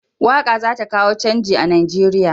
Waƙa za ta kawo canji a Nigeriya.